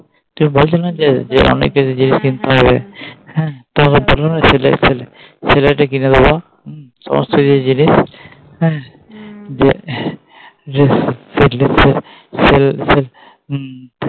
তুমি বলছিলে না যে অনেক কিছু জিনিস কিনতে হবে হ্যাঁ